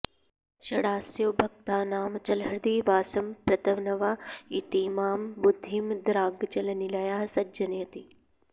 षडास्यो भक्तानामचलहृदि वासं प्रतनवा इतीमां बुद्धिं द्रागचलनिलयः सञ्जनयति